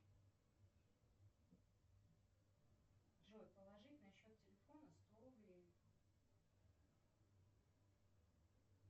джой положить на счет телефона сто рублей